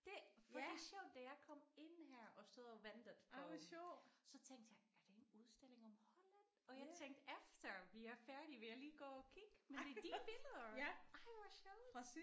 Det fordi sjovt da jeg kom ind her og stod og ventede på så tænkte jeg er det en udstilling om Holland og jeg tænkte efter vi er færdige vil jeg lige gå og kigge men det er dine billeder. Ej hvor sjovt